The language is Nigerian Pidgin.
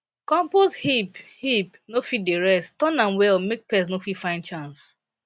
compost heap heap no fit dey rest turn am well make pest no fit find chance